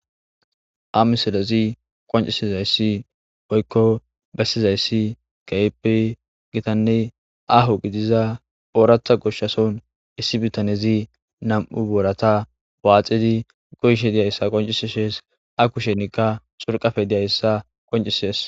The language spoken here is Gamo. Ha misolezi qoncisizayssi boykko bessizayssi kaipe gitanne aho gidiza oorata goshshason issi bitanezi nam7u boorata baaxidi goyshe diyayssa qonciseshees a kushenikka xurqafe diyayssa qoncisees